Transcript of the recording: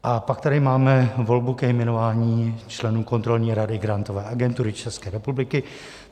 A pak tady máme volbu ke jmenování členů Kontrolní rady Grantové agentury České republiky.